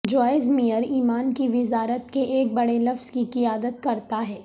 Joyce Meyer ایمان کی وزارت کے ایک بڑے لفظ کی قیادت کرتا ہے